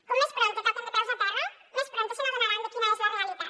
com més prompte toquen de peus a terra més prompte s’adonaran de quina és la realitat